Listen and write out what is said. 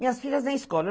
Minhas filhas não escola.